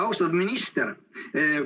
Austatud minister!